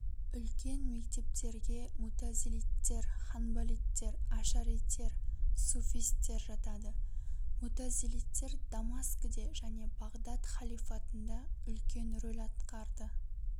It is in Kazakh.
үлкен мектептерге мутазилиттер ханбалиттер ашаритер суфистер жатады мутазилиттер дамаскіде және бағдат халифатында үлкен рөл атқарды